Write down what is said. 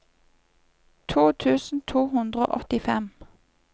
to tusen to hundre og åttifem